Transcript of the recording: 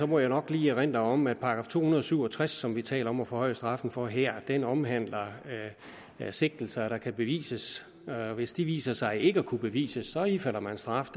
må jeg nok lige erindre om at § to hundrede og syv og tres som vi taler om at forhøje straffen for her omhandler sigtelser der kan bevises hvis de viser sig ikke at kunne bevises ifalder man straf